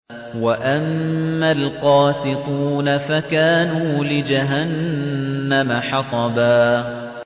وَأَمَّا الْقَاسِطُونَ فَكَانُوا لِجَهَنَّمَ حَطَبًا